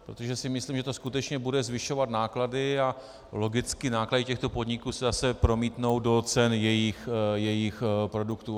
Protože si myslím, že to skutečně bude zvyšovat náklady a logicky náklady těchto podniků se zase promítnou do cen jejich produktů.